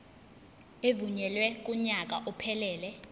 evunyelwe kunyaka ophelele